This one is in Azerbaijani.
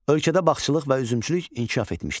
Ölkədə bağçılıq və üzümçülük inkişaf etmişdi.